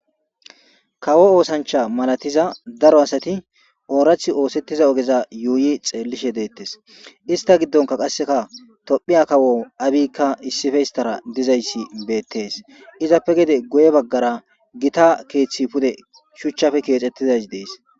kawo oosancha malatiza daro asati oorathi oosettiza ogeza yuuyi xeellishe deettes ista giddonka qasseka tophiya kawo abikka issife histara dizayssi beettees izappe gede guye baggara gita keeththi pude shuchchafe keexettizays dees